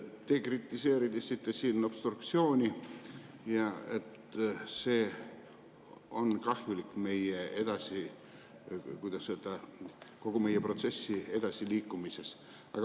Te siin kritiseerisite obstruktsiooni, et see on kahjulik, kuidas öelda, kogu meie protsessi edasiliikumises.